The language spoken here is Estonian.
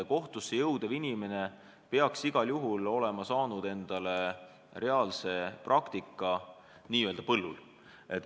Kohtusse tööle tulev inimene peaks igal juhul olema saanud reaalse praktika n-ö põllul.